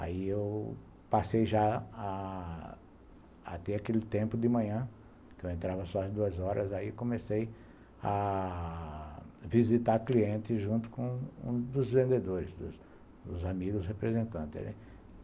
Aí eu passei já até aquele tempo de manhã, que eu entrava só às duas horas, aí comecei a visitar clientes junto com um dos vendedores, dos amigos representantes.